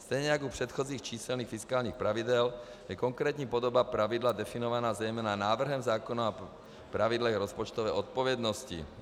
Stejně jako u předchozích číselných fiskálních pravidel je konkrétní podoba pravidla definovaná zejména návrhem zákona o pravidlech rozpočtové odpovědnosti.